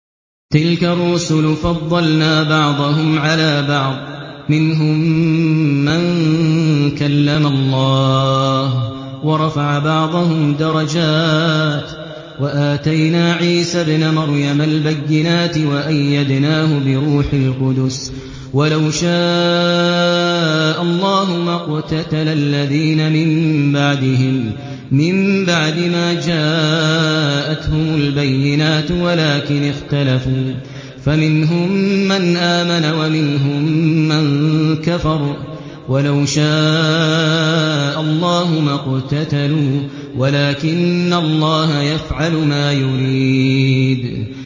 ۞ تِلْكَ الرُّسُلُ فَضَّلْنَا بَعْضَهُمْ عَلَىٰ بَعْضٍ ۘ مِّنْهُم مَّن كَلَّمَ اللَّهُ ۖ وَرَفَعَ بَعْضَهُمْ دَرَجَاتٍ ۚ وَآتَيْنَا عِيسَى ابْنَ مَرْيَمَ الْبَيِّنَاتِ وَأَيَّدْنَاهُ بِرُوحِ الْقُدُسِ ۗ وَلَوْ شَاءَ اللَّهُ مَا اقْتَتَلَ الَّذِينَ مِن بَعْدِهِم مِّن بَعْدِ مَا جَاءَتْهُمُ الْبَيِّنَاتُ وَلَٰكِنِ اخْتَلَفُوا فَمِنْهُم مَّنْ آمَنَ وَمِنْهُم مَّن كَفَرَ ۚ وَلَوْ شَاءَ اللَّهُ مَا اقْتَتَلُوا وَلَٰكِنَّ اللَّهَ يَفْعَلُ مَا يُرِيدُ